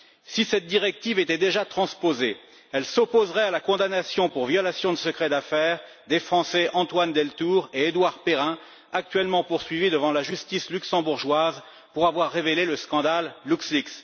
Si cette directive était déjà transposée, elle s'opposerait à la condamnation pour violation de secret d'affaires des Français Antoine Deltour et Édouard Perrin, actuellement poursuivis devant la justice luxembourgeoise pour avoir révélé le scandale LuxLeaks.